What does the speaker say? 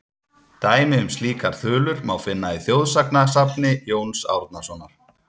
Dæmi um slíkar þulur má finna í þjóðsagnasafni Jóns Árnasonar:.